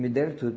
Me deram tudo.